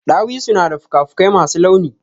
Ɗawisu na da fuka fuƙai masu launi.